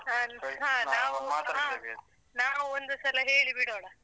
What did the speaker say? ಹ ಹ . ನಾವು ಒಂದು ಸಲ ಹೇಳಿಬಿಡೋಣ.